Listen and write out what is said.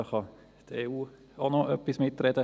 Die EU kann da auch noch mitreden.